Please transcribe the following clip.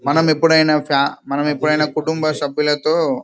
మనము ఏప్పుడు ఐనా మన కుటుంబ సభ్యులతో--